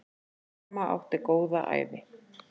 Amma átti góða ævi.